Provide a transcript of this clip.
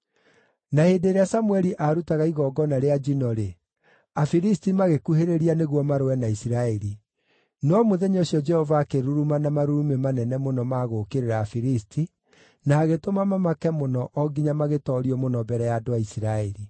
Na hĩndĩ ĩrĩa Samũeli aarutaga igongona rĩa njino-rĩ, Afilisti magĩkuhĩrĩria nĩguo marũe na Isiraeli. No mũthenya ũcio Jehova akĩruruma na marurumĩ manene mũno ma gũũkĩrĩra Afilisti, na agĩtũma mamake mũno o nginya magĩtoorio mũno mbere ya andũ a Isiraeli.